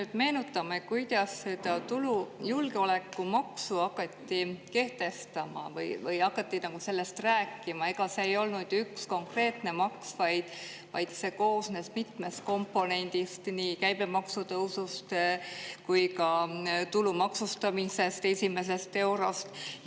Kui me meenutame, kuidas seda julgeolekumaksu hakati kehtestama või hakati nagu sellest rääkima, ega see ei olnud ju üks konkreetne maks, vaid see koosnes mitmest komponendist, nii käibemaksu tõusust kui ka tulu maksustamisest esimesest eurost.